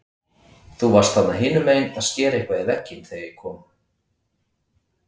Þú varst þarna hinumegin að skera eitthvað í vegginn þegar ég kom.